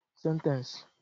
Sentence